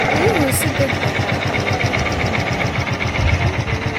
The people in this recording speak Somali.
Riyuhu si degdeg ah ayay u tarmi karaan.